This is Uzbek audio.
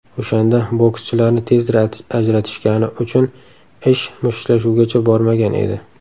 O‘shanda bokschilarni tezda ajratishgani uchun ish mushtlashuvgacha bormagan edi.